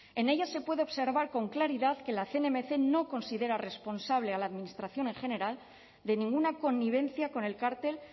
en ella se puede observar con claridad que la cnmc no considera responsable a la administración en general de ninguna connivencia con el cártel